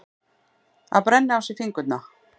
Að brenna á sér fingurna